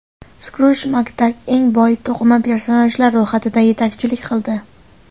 Skruj Makdak eng boy to‘qima personajlar ro‘yxatida yetakchilik qildi.